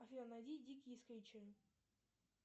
афина найди дикие скритчеры